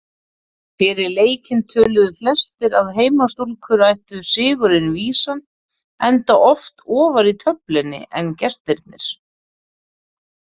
Fyrir leikinn töluðu flestir að heimastúlkur ættu sigurinn vísan enda ofar í töflunni en gestirnir.